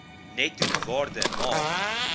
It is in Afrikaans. netto waarde na